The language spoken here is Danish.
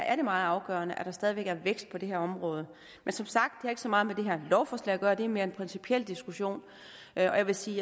er det meget afgørende at der stadig væk er vækst på det her område men som sagt har det ikke så meget med det her lovforslag at gøre det er mere en principiel diskussion jeg vil sige